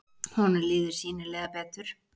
Honum líður sýnilega betur.